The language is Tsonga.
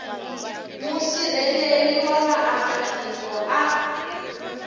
musirheleli wa vaaka tiko a